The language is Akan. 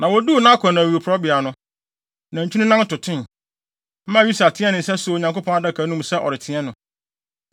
Na woduu Nakon awiporowbea no, nantwi no nan totoe, maa Usa teɛɛ ne nsa soo Onyankopɔn Adaka no mu sɛ ɔreteɛ no.